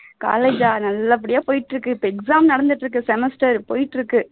college நல்லபடியா போய்ட்டு இருக்கு இப்போ exam நடந்துட்டு இருக்கு semester போயிட்டு இருக்கு